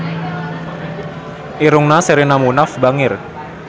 Irungna Sherina Munaf bangir